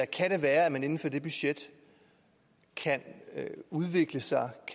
kan være at man inden for det budget kan udvikle sig